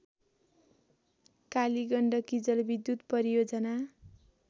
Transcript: कालीगण्डकी जलविद्युत परियोजना